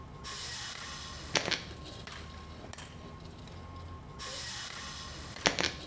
ugibithe